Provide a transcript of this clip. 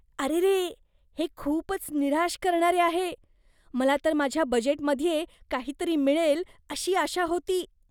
अरेरे, हे खूपच निराश करणारे आहे. मला तर माझ्या बजेटमध्ये काहीतरी मिळेल अशी आशा होती.